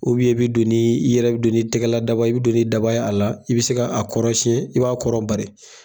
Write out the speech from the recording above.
i bɛ don ni, i yɛrɛ bɛ don ni tɛgɛla daba ye, i bɛ don ni daba ye a la , i bɛ se k'a kɔrɔ siɲɛ i b'a kɔrɔ bari.